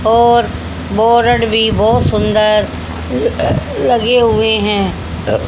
और बोरड भी बहोत सुंदर अह लगे हुए हैं।